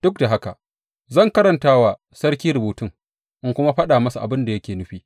Duk da haka, zan karanta wa sarki rubutun, in kuma faɗa abin da yake nufi.